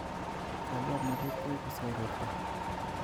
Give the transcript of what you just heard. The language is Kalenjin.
Cholwoknotet koibu siororto